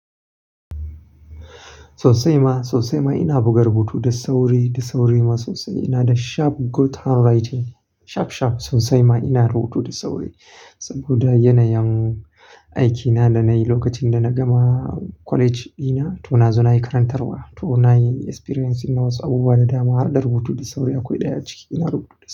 Sosai ma, sosai ma ina buga rubutu da sauri, da sauri ma sosai. Ina da sharp good handwriting, sharp, sharp. Sosai ma ina rubutu da sauri saboda yanayin aikina da na yi lokacin da na gama college dina. To na zo na yi karantarwa, to na yi experience na wasu abubuwa da dama. Harda rubutu da sauri akwai ɗaya a ciki. Ina rubutu da.